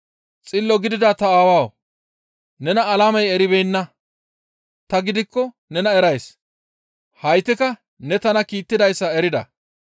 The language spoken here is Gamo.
Xillo gidida ta Aawawu! Nena alamey eribeenna; ta gidikko nena erays; haytikka ne tana kiittidayssa erida.